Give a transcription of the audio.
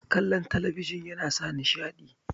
kallon talabijin nasa nishaɗi